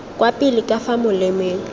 kwa pele ka fa molemeng